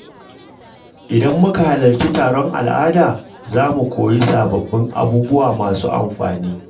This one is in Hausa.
Idan muka halarci taron al’ada, za mu koyi sababbin abubuwa masu amfani.